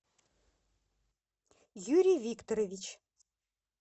юрий викторович